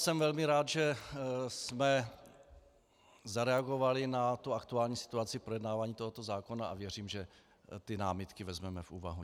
Jsem velmi rád, že jsme zareagovali na tu aktuální situaci projednávání tohoto zákona, a věřím, že ty námitky vezmeme v úvahu.